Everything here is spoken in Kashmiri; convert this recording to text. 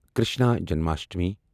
کرشنا جنماشٹمی